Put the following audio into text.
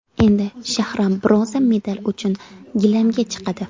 Endi Shahram bronza medal uchun gilamga chiqadi.